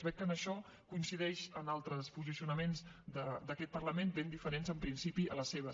veig que en això coincideix amb altres posicionaments d’aquest parlament ben diferents en principi als seus